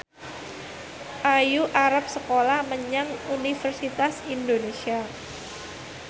Ayu arep sekolah menyang Universitas Indonesia